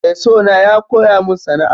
Mai sona ya koya min sana'a.